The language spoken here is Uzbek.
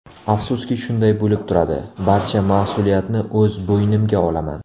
Afsuski shunday bo‘lib turadi, barcha mas’uliyatni o‘z bo‘ynimga olaman.